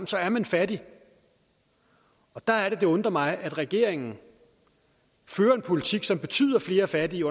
så er man fattig og der er det det undrer mig at regeringen fører en politik som betyder flere fattige